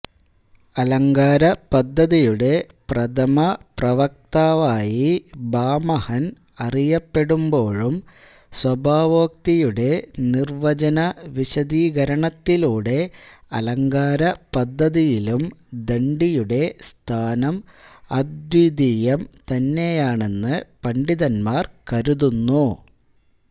അലങ്കാരപദ്ധതിയുടെ പ്രഥമ പ്രവക്താവായി ഭാമഹൻ അറിയപ്പെടുമ്പോഴും സ്വഭാവോക്തിയുടെ നിർവചന വിശദീകരണത്തിലൂടെ അലങ്കാരപദ്ധതിയിലും ദണ്ഡിയുടെ സ്ഥാനം അദ്വിതീയം തന്നെയാണെന്ന് പണ്ഡിതന്മാർ കരുതുന്നു